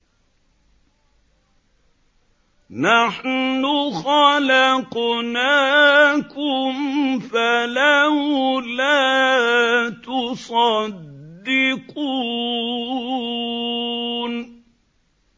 نَحْنُ خَلَقْنَاكُمْ فَلَوْلَا تُصَدِّقُونَ